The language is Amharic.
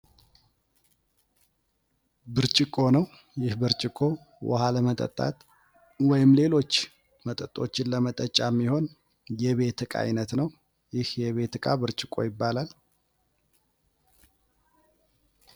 ብርጭቆ ነው። ይህ ብርጭቆ ውሃ ለመጠጣት ወይም ሌሎች መጠጦችን ለመጠጫ የሚሆን የቤት እቃ ዓይነት ነው። ይህ የቤት ዕቃ ብርጭቆ ይባላል።